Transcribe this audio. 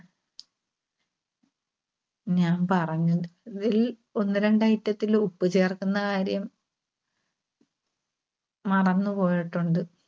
ഞാൻ പറഞ്ഞത്~തിൽ ഒന്ന് രണ്ട് item ത്തില് ഉപ്പ് ചേർക്കുന്ന കാര്യം മറന്നുപോയിട്ടുണ്ട്.